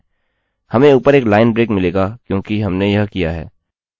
आप देखेंगे कि यह उसी तरह एको करेगा जैसा हम चाहते हैं